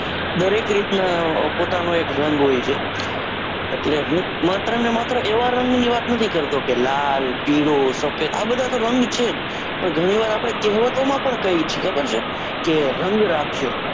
દરેક રીત ના પોતાનો એક રંગ હોયછે. એટલે હું માત્ર ને માત્ર એવા રંગો ની વાત નથી કરતો, કે લાલ, પીળો, સફેદ આ બધા તો રંગ છે જ, પણ ગણી વાર આપડે કેહવતો માં પણ કહીયે છીએ ખબર છે, કે રંગ રાખ્યો.